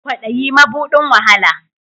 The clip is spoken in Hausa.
Kwadayi mabudin wahala